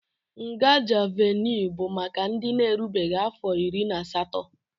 Nga Juuvenịl bụ maka ndị na-erubeghị afọ iri na asatọ